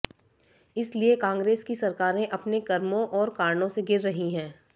इसलिए कांग्रेस की सरकारें अपने कर्मो और कारणों से गिर रही हैं